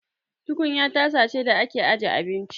Tukunya tasa ce da ake aje abinci.